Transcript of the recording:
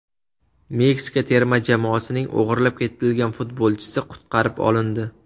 Meksika terma jamoasining o‘g‘irlab ketilgan futbolchisi qutqarib olindi.